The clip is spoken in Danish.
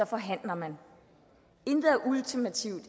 forhandler man intet er ultimativt